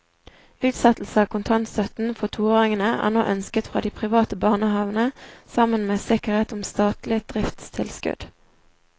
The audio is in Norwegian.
Utsettelse av kontantstøtten for toåringene er nå ønsket fra de private barnehavene sammen med sikkerhet om statlig driftstilskudd.